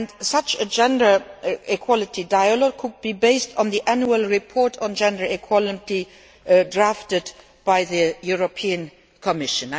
Such a gender equality dialogue could be based on the annual report on gender equality drafted by the European Commission.